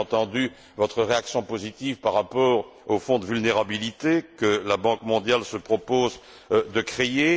J'ai entendu votre réaction positive par rapport au fonds de vulnérabilité que la Banque mondiale se propose de créer.